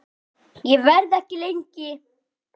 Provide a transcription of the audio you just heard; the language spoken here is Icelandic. Ég verð ekki lengi